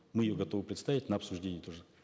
мы ее готовы представить на обсуждение тоже